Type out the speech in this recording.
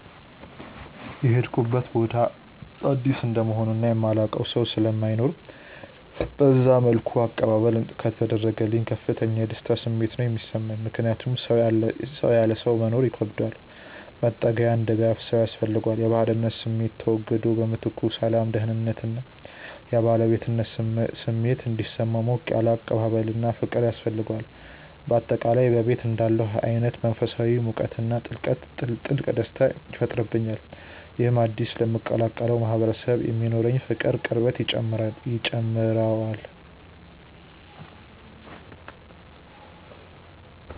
የሄድኩበት ቦታ አዲስ እንደመሆኑ እና የማላውቀው ሰው ስለማይኖር በዛ መልኩ አቀባበል ከተደረገልኝ ከፍተኛ የደስታ ስሜት ነው የሚሰማኝ። ምክንያቱም ሰው ያለ ሰው መኖር ይከብደዋል፤ መጠጊያና ደጋፊ ሰው ያስፈልገዋል። የባዕድነት ስሜቱ ተወግዶ በምትኩ ሰላም፣ ደህንነት እና የባለቤትነት ስሜት እንዲሰማው ሞቅ ያለ አቀባበልና ፍቅር ያስፈልገዋል። በአጠቃላይ በቤቴ እንዳለሁ አይነት መንፈሳዊ ሙቀትና ጥልቅ ደስታ ይፈጥርብኛል። ይህም አዲስ ለምቀላቀለው ማህበረሰብ የሚኖረኝን ፍቅርና ቅርበት ይጨምረዋል።